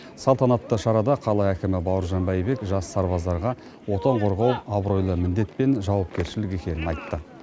салтанатты шарада қала әкімі бауыржан бәйбек жас сарбаздарға отан қорғау абыройлы міндет пен жауапкершілік екенін айтты